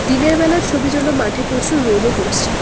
দিনের বেলার ছবির জন্য মাঠে প্রচুর রোদও পড়ছে।